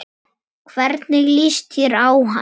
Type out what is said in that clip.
Hvernig líst þér á hann?